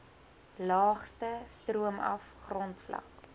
laagste stroomaf grondvlak